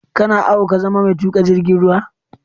Kana ao ka zama mai tuƙa jirgin ruwa?